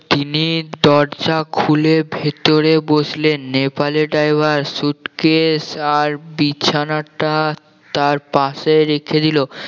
তিনি দরজা খুলে ভেতরে বসলেন নেপালি driver suitcase আর বিছানাটা তার পাশে রেখে দিল